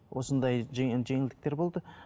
осындай жеңілдіктер болды